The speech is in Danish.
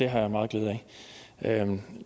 har jeg meget glæde af